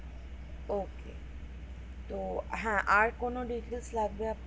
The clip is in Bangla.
ওকে তো হ্যাঁ আর কোন details লাগবে